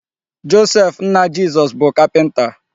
Joseph nna Jizọs bụ kapịnta.